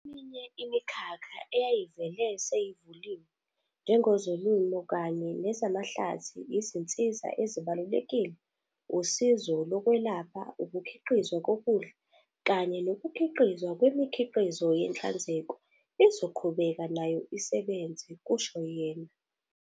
"Eminye imikhakha eyayivele seyivuliwe, njengezolimo kanye nezamahlathi, izinsiza ezibalulekile, usizo lokwelapha, ukukhiqizwa kokudla kanye nokukhiqizwa kwemikhiqizo yenhlanzeko, izoqhubeka nayo isebenze," kusho yena.